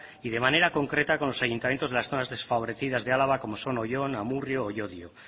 y de manera concreta con los ayuntamientos de las zonas desfavorecidas de álava como son oyón amurrio o llodio